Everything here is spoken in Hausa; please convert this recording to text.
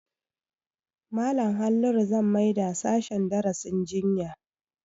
Malam Halliru zan maida sashen darasin jinya